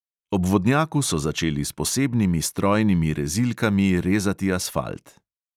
Ob vodnjaku so začeli s posebnimi strojnimi rezilkami rezati asfalt.